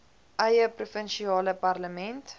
eie provinsiale parlement